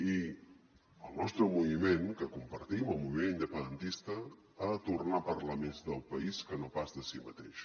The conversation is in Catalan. i el nostre moviment que compartim el moviment independentista ha de tornar a parlar més del país que no pas de si mateix